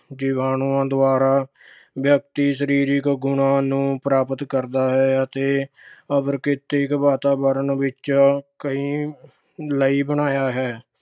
ਜੀਵਾਣੂਆਂ ਦੁਆਰਾ ਵਿਅਕਤੀ ਸਰੀਰਕ ਗੁਣਾਂ ਨੂੰ ਪ੍ਰਾਪਤ ਕਰਦਾ ਹੈ ਅਤੇ ਅਪ੍ਰਕ੍ਰਿਤਕ ਵਾਤਾਵਰਣ ਵਿੱਚ ਕਈ ਲਈ ਬਣਾਇਆ ਹੈ।